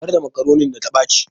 Zubar da makaronin da ta ɓaci